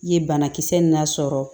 I ye banakisɛ lasɔrɔ